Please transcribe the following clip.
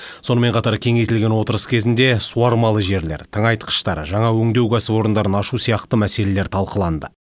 сонымен қатар кеңейтілген отырыс кезінде суармалы жерлер тыңайтқыштар жаңа өңдеу кәсіпорындарын ашу сияқты мәселелер талқыланды